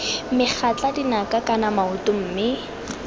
megatla dinaka kana maoto mme